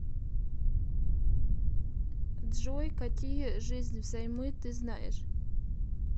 джой какие жизнь взаймы ты знаешь